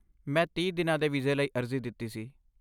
ਮੈਂ ਤੀਹ ਦਿਨਾਂ ਦੇ ਵੀਜ਼ੇ ਲਈ ਅਰਜੀ ਦਿੱਤੀ ਸੀ